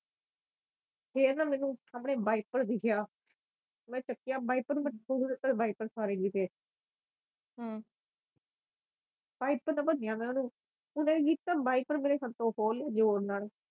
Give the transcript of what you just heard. ਫਿਰ ਨਾ ਮੈਨੂੰ ਸਾਮਣੇ ਵਾਈਪਰ ਦੀਖਿਆ ਮੈ ਚੱਕਿਆ ਵਾਈਪਰ ਨੂੰ ਮੈ ਵਾਈਪਰ ਨਾ ਓਹਨੇ ਕੀ ਕੀਤਾ ਵਾਈਪਰ ਮੇਰੇ ਹੱਥੋਂ ਖੋ ਲਈ ਜ਼ੋਰ ਨਾਲ